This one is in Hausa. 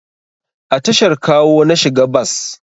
A tashar Kawo na shiga bas